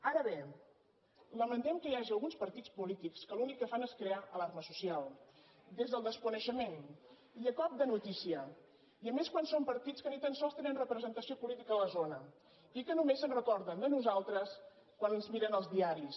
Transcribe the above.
ara bé lamentem que hi hagi alguns partits polítics que l’únic que fan és crear alarma social des del desconeixement i a cop de notícia i a més quan són partits que ni tan sols tenen representació política a la zona i que només se’n recorden de nosaltres quan es miren els diaris